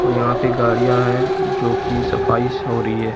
यहां पे गाड़ियां है जोकि सफाईस हो रही है।